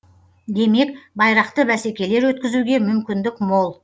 демек байрақты бәсекелер өткізуге мүмкіндік мол